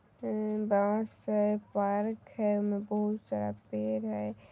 अ अ बहुत सारे पार्क है ओय में बहुत सारा पेड़ है।